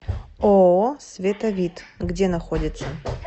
ооо световид где находится